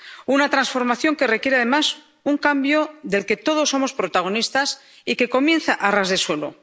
Una transformación que requiere, además, un cambio del que todos somos protagonistas y que comienza a ras de suelo.